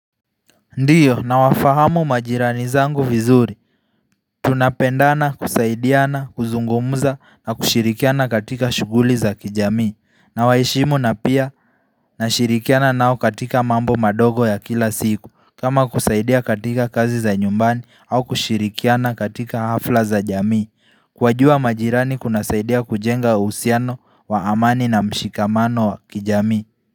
Ndiyo nawafahamu majirani zangu vizuri Tunapendana kusaidiana kuzungumza na kushirikiana katika shughuli za kijamii na waheshimu na pia na shirikiana nao katika mambo mandogo ya kila siku kama kusaidia katika kazi za nyumbani au kushirikiana katika hafla za jamii Kuwajua majirani kuna saidia kujenga uhusiano wa amani na mshikamano wa kijamii.